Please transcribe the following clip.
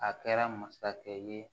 A kɛra masakɛ ye